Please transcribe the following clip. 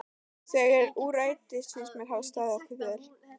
Þegar úr rætist finnst mér við hafa staðið okkur vel.